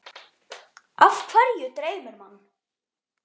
Af hverju dreymir mann?